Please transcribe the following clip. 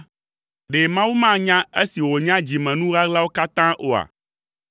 ɖe Mawu manya esi wònya dzimenu ɣaɣlawo katã oa?